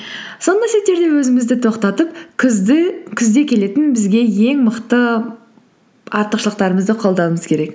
сондай сәттерде өзімізді тоқтатып күзде келетін бізге ең мықты артықшылықтарымызды қолдануымыз керек